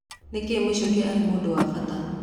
Nĩkĩĩ Michuki arĩ mũndũ wa bata?